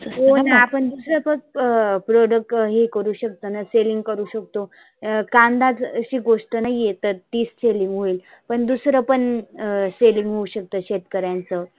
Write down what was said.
होना आपण दुसऱ्या product हे करु शकतोना selling करु शकतो. अं कांदा अशी गोष्ट नाहीए तर ती selling होईल. पण दुसरं पण अं selling होऊ शकत शेतकऱ्यांच.